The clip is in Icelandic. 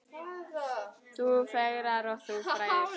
Þú fegrar og þú fræðir.